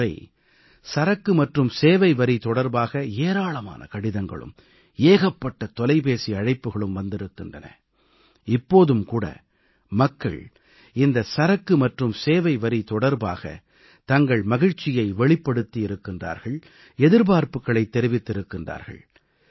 இந்த முறை சரக்கு மற்றும் சேவை வரி தொடர்பாக ஏராளமான கடிதங்களும் தொலைபேசி அழைப்புக்களும் வந்திருக்கின்றன இப்போதும் கூட மக்கள் இந்த சரக்கு மற்றும் சேவைவரி தொடர்பாக தங்கள் மகிழ்ச்சியை வெளிப்படுத்தி இருக்கிறார்கள் எதிர்பார்ப்புக்களை தெரிவித்திருக்கிறார்கள்